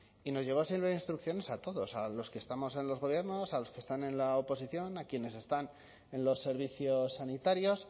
y nos llegó sin libro de instrucciones a todos a los que estamos en los gobiernos a los que están en la oposición a quienes están en los servicios sanitarios